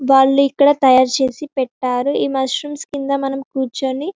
వాళ్ళు ఇక్కడ తయారు చేసి పెట్టారు ఈ మష్రూమ్స్ కింద మనం కుచ్చోని --